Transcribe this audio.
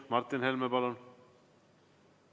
Martin Helme, palun!